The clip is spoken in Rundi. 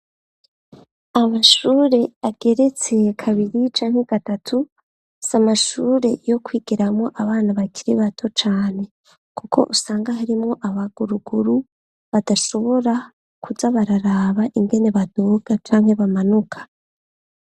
Amashure ageretse kabiri canke gatatu, si amashure yo kwigiramwo abana bakiri bato cane, kuko usanga harimwo abaguruguru badashobora kuja bararaba ingene baduga canke bamanuka.